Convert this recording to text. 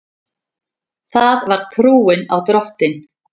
Það var trúin á Drottin.